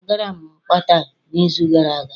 A gara m Qatar n'izu gara aga